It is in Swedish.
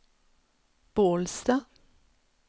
Bålsta